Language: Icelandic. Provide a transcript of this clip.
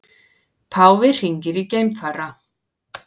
Páfi hringir í geimfara